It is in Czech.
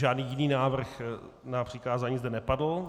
Žádný jiný návrh na přikázání zde nepadl.